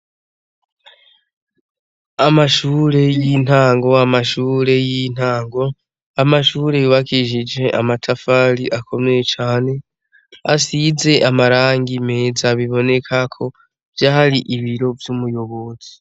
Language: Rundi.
Amashure y'intango, amashure y'intango, amashure yubakishije amatafari akomeye cane asize amarangi meza biboneka ko vyari ibiro vy'umuyobozi